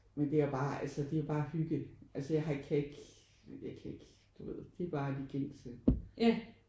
Men det er bare altså det er bare hygge altså jeg har ikke kan ikke jeg kan ikke du ved det er bare de gængse